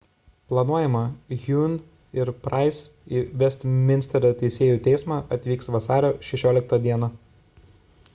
planuojama huhne ir pryce į vestminsterio teisėjų teismą atvyks vasario 16 d